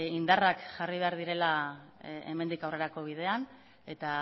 indarrak jarri behar direla hemendik aurrerako bidean eta